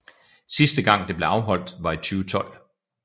Sidst gang det blev afholdt var i 2012